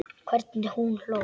Hvernig hún hló.